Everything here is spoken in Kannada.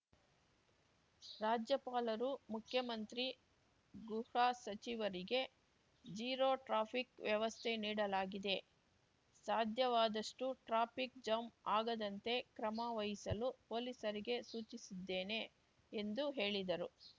ರಾಜ್ಯಪಾಲರು ಮುಖ್ಯಮಂತ್ರಿ ಗೃಹಸಚಿವರಿಗೆ ಜೀರೋ ಟ್ರಾಫಿಕ್‌ ವ್ಯವಸ್ಥೆ ನೀಡಲಾಗಿದೆ ಸಾಧ್ಯವಾದಷ್ಟುಟ್ರಾಫಿಕ್‌ ಜಾಂ ಆಗದಂತೆ ಕ್ರಮ ವಹಿಸಲು ಪೊಲೀಸರಿಗೆ ಸೂಚಿಸಿದ್ದೇನೆ ಎಂದು ಹೇಳಿದರು